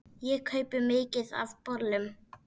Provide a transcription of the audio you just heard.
Ég kaupi mikið af bolum.